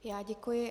Já děkuji.